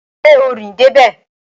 Ṣé o rìn dé bẹ̀?